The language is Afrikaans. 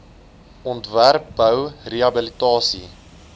ontwerp bou rehabilitasie